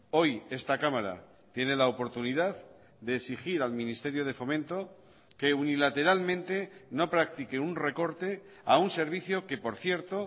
hoy esta cámara tiene la oportunidad de exigir al ministerio de fomento que unilateralmente no practique un recorte a un servicio que por cierto